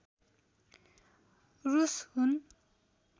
रूस हुन्